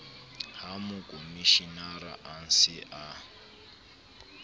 ha mokomshenara a se a